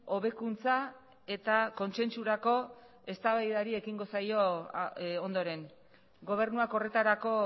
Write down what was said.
hobekuntza eta kontsentsurako eztabaidari ekingo zaio ondoren gobernuak horretarako